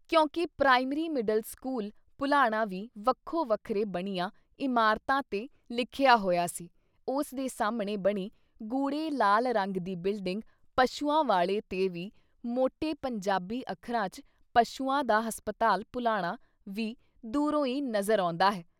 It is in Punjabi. ਕਿਉਂਕਿ ਪ੍ਰਾਇਮਰੀ ਮਿਡਲ ਸਕੂਲ ਭੁਲਾਣਾ ਵੀ ਵੱਖੋ ਵੱਖਰੇ ਬਣੀਆਂ ਇਮਾਰਤਾਂ ਤੇ ਲਿਖਿਆ ਹੋਇਆ ਸੀ, ਉਸ ਦੇ ਸਾਹਮਣੇ ਬਣੀ ਗੂੜ੍ਹੇ ਲਾਲ ਰੰਗ ਦੀ ਬਿਲਡਿੰਗ ਪਸ਼ੂਆਂ ਵਾਲੇ ਤੇ ਵੀ ਮੋਟੇ ਪੰਜਾਬੀ ਅੱਖਰਾਂ 'ਚ 'ਪਸ਼ੂਆਂ ਦਾ ਹਸਪਤਾਲ ਭੁਲਾਣਾ' ਵੀ ਦੂਰੋਂ ਈ ਨਜ਼ਰ ਆਉਂਦਾ ਹੈ।